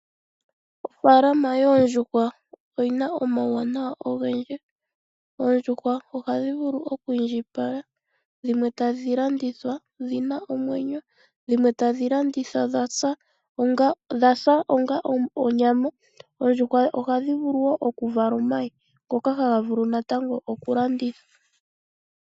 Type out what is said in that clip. Ofalama yoondjuha oyina omawuwanawa ogendji, oondjuhwa ohadhi vulu oku indjipala dhimwe ta dhi landithwa dhina omwenyo dhimwe tadhi landithwa dha hulitha onga onyama, oondjhwa ohadhi vulu okuvala omayi haga vulu natango okulandithwa.